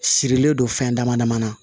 Sirilen don fɛn dama dama na